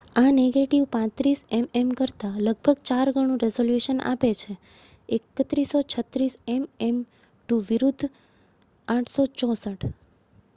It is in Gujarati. આ નેગેટિવ 35 એમએમ કરતાં લગભગ ચાર ગણું રિઝોલ્યુશન આપે છે 3136 એમએમ2 વિરુદ્ધ 864